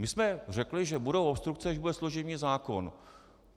My jsme řekli, že budou obstrukce, když bude služební zákon.